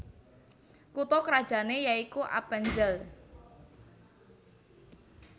Kutha krajané yaikuAppenzell